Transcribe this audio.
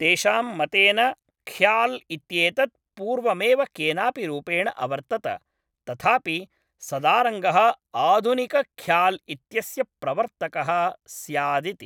तेषां मतेन ख़्याल् इत्येतत् पूर्वमेव केनापि रूपेण अवर्तत, तथापि सदारङ्गः आधुनिकख़्याल् इत्यस्य प्रवर्तकः स्यादिति।